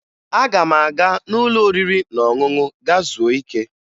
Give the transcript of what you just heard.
Aga m aga n'ụlọ oriri na ọṅụṅụ gaa zuo ike